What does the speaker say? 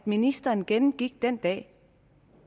ministeren gennemgik den dag